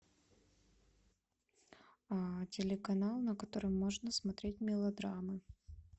телеканал на котором можно смотреть мелодрамы